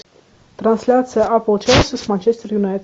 трансляция апл челси с манчестер юнайтед